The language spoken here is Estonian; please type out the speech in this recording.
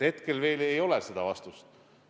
Hetkel veel ei ole seda vastust.